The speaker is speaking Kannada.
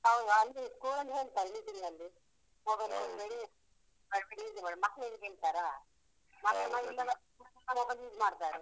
ಹೌದು. ಅಂದ್ರೆ school ಲಲ್ಲಿ ಹೇಳ್ತಾರೆ meeting ನಲ್ಲಿ. mobile ಕೊಡ್ಬೇಡಿ, ಮಕ್ಳು ಹೇಳಿದ್ ಕೇಳ್ತಾರಾ? ಮಕ್ಳು mobile use ಮಾಡ್ತಾರೆ.